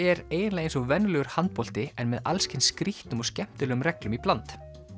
er eiginlega eins og venjulegur handbolti en með alls kyns skrýtnum og skemmtilegum reglum í bland